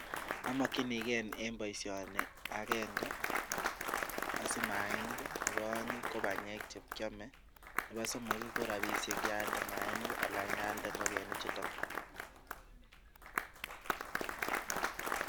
Amokinige en boisioni agenge; osich maanik nebo oeng ko banyek che kyome nebo somok ko rabishek ye alde maainik anan ye alde ngokenichuto.